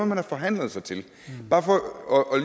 man har forhandlet sig til det